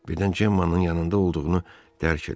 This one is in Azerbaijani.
Birdən Cemmanın yanında olduğunu dərk elədi.